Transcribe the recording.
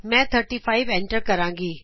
ਮੈਂ 35 ਐਂਟਰ ਕਰਾਂਗੀ